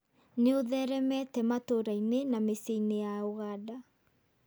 Nĩ ũtheremete matũũra-inĩ na mĩciĩ-inĩ ya Uganda.